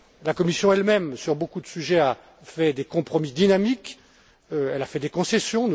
La Commission elle même, sur beaucoup de sujets, a fait des compromis dynamiques, elle a fait des concessions.